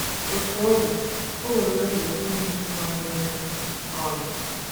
Otú ọ dị,o nwere obi ụtọ inwe ike ịgwa anyị “ okwu. um ”